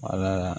Wala